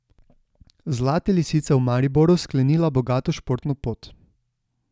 Zlate lisice v Mariboru sklenila bogato športno pot.